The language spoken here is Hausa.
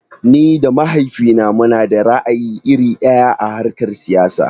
Ni da mahaifina munada ra'ayi iri ɗaya a harkar siyasa.